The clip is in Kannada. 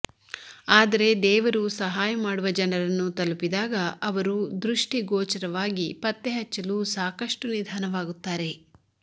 ಆದರೆ ದೇವರು ಸಹಾಯ ಮಾಡುವ ಜನರನ್ನು ತಲುಪಿದಾಗ ಅವರು ದೃಷ್ಟಿಗೋಚರವಾಗಿ ಪತ್ತೆಹಚ್ಚಲು ಸಾಕಷ್ಟು ನಿಧಾನವಾಗುತ್ತಾರೆ